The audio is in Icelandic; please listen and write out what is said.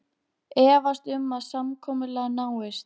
Efast um að samkomulag náist